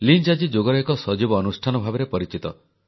Lynch ଆଜି ଯୋଗର ଏକ ସଜୀବ ଅନୁଷ୍ଠାନ ଭାବରେ ପରିଚିତ